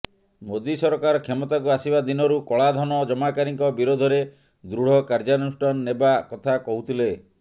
ମୋଦି ସରକାର କ୍ଷମତାକୁ ଆସିବା ଦିନରୁ କଳାଧନ ଜମାକାରୀଙ୍କ ବିରୋଧରେ ଦୃଢ଼ କାର୍ଯ୍ୟାନୁଷ୍ଠାନ ନେବା କଥା କହୁଥିଲେ